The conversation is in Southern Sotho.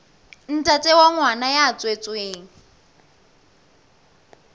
ntate wa ngwana ya tswetsweng